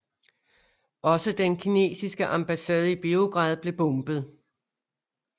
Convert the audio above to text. Også den kinesiske ambassade i Beograd blev bombet